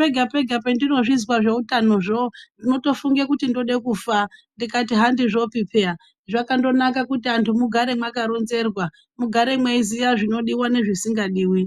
pega-pega pandinozvizwa zveutanozvo ndinotofunge kuti ndode kufa. Ndikati handizvopi peya zvakandonaka kuti antu mugare mwakaronzerwa mugare mweiziya zvinodiva nezvisingadivi.